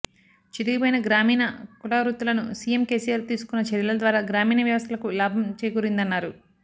చితికిపోయిన గ్రామీణ కులవృత్తులను CM KCR తీసుకున్న చర్యల ద్వారా గ్రామీణ వ్యవస్థలకు లాభం చేకూరిందన్నారు